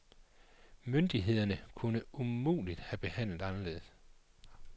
Myndighederne kunne umuligt have handlet anderledes.